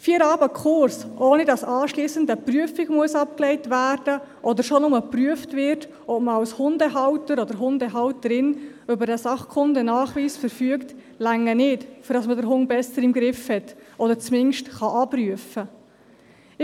Vier Abende Kurs, ohne dass anschliessend eine Prüfung abgelegt werden muss oder nur schon geprüft wird, ob man als Hundehalter oder Hundehalterin über den SKN verfügt, reichen nicht aus, den Hund besser im Griff zu haben oder zumindest abrufen zu können.